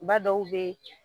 Ba dɔw be